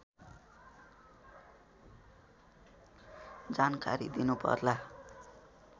जानकारी दिनुपर्ला